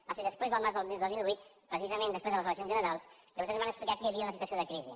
va ser després del març del dos mil vuit precisament després de les eleccions generals que vostès van explicar que hi havia una situació de crisi